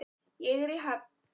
Ég er í höfn.